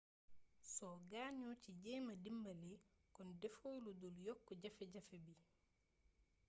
soo gaañoo ci jeema dimbali kon defoo ludul yokk jafe-jafe bi